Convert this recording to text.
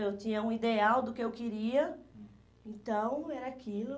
Eu tinha um ideal do que eu queria, então era aquilo.